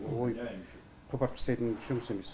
ойып қопарып тастайтын жұмыс емес